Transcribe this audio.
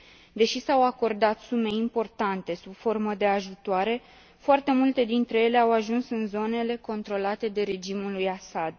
Deși s au acordat sume importante sub formă de ajutoare, foarte multe dintre ele au ajuns în zonele controlate de regimul lui Assad.